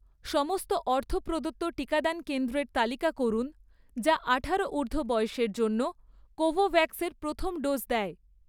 সমস্ত অর্থ প্রদত্ত টিকাদান কেন্দ্রের তালিকা করুন যা আঠারো ঊর্ধ্ব বয়সের জন্য কোভোভ্যাক্স এর প্রথম ডোজ দেয়